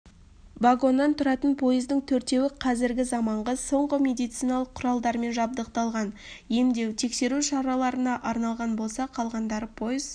вагоннан тұратын пойыздың төртеуі қазіргі заманғы соңғы медициналық кұралдармен жабдықталған емдеу-тексеру шараларына арналған болса қалғандары пойыз